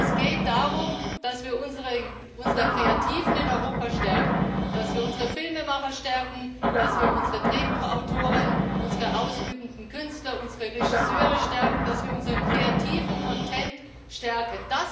Es geht darum, dass wir unsere Kreativen in Europa stärken, dass wir unsere Filmemacher stärken, dass wir unsere Drehbuchautoren, unsere ausübenden Künstler, unsere Regisseure stärken, dass wir unseren kreativen Content stärken.